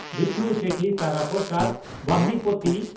Bishnu Sethi Tara Prasad Bahinipati